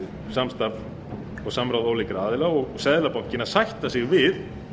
samstarf og samráð ólíkra aðila og seðlabankinn að sætta sig við